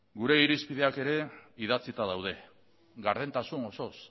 gure irizpideak ere idatzita daude gardentasun osoz